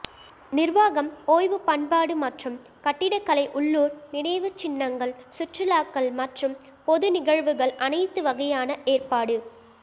நிர்வாகம் ஓய்வு பண்பாடு மற்றும் கட்டிடக் கலை உள்ளூர் நினைவுச்சின்னங்கள் சுற்றுலாக்கள் மற்றும் பொது நிகழ்வுகள் அனைத்து வகையான ஏற்பாடு